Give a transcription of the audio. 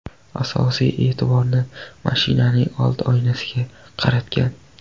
Asosiy e’tiborni mashinaning old oynasiga qaratgan.